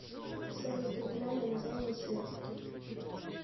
салют оригинальное название сербки